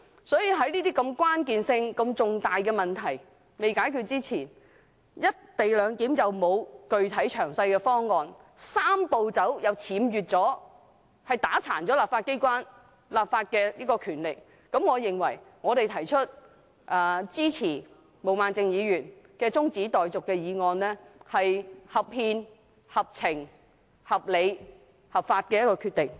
鑒於這些如此關鍵、如此重大的問題尚未解決，"一地兩檢"又沒有具體詳細的方案，"三步走"又僭越——打垮香港立法機關的立法權力，我認為我們支持毛孟靜議員的中止待續議案，是合憲、合情、合理及合法的決定。